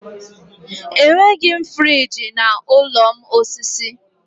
Enweghị m friji n'ụlọ m osisi.